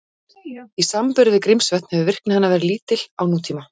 Í samanburði við Grímsvötn hefur virkni hennar verið lítil á nútíma.